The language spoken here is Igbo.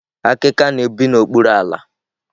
akịka na-ebi n'okpuru ala.